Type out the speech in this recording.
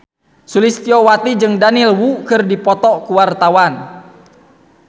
Sulistyowati jeung Daniel Wu keur dipoto ku wartawan